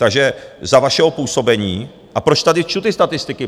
Takže za vašeho působení - a proč tady čtu ty statistiky?